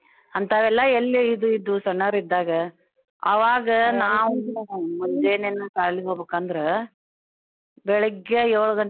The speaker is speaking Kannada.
ಅಂತವೆಲ್ಲ ಎಲ್ಲೇ ಇದ್~ ಇದ್ವು ಸನ್ನೋರಿದ್ದಾಗ ಆವಾಗ ನಾವು ಮುಂಜೇನೆೇನ್ ಸಾಲಿಗ್ ಹೋಬಕಂದ್ರ ಬೆಳಿಗ್ಗೆ ಯೋಳ್ಗಂಟೆ.